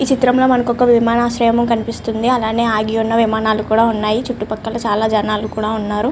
ఈ చిత్రం లో మనకి ఒక విమనార్శయం కనిపిస్తుంది. అలాగే అగి ఉన్నా విమానాలు కూడ ఉన్నాయ్ చుట్టు పక్క చాల జనాలు కూడా ఉన్నారు.